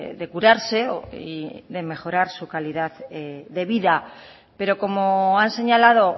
de curarse y de mejorar su calidad de vida pero como han señalado